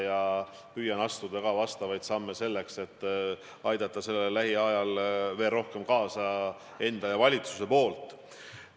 Ma püüan astuda samme, et aidata sellele lähiajal veel rohkem kaasa nii enda kui ka terve valitsuse poolt.